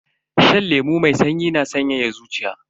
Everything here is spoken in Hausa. Shan lemu mai sanyi na sanyaya zuciya.